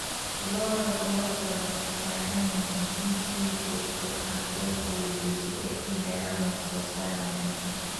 Lo'da lo'da waxay u baahan yihiin in si joogto ah loo quudiyo si ay u helaan wax soo saar wanaagsan.